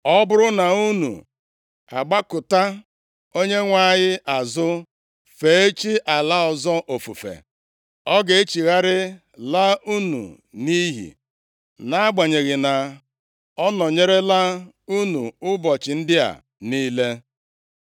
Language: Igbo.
Ọ bụrụ na unu agbakụta Onyenwe anyị azụ, fee chi ala ọzọ ofufe, ọ ga-echigharị laa unu nʼiyi, nʼagbanyeghị na ọ nọnyerela unu ụbọchị ndị a niile.”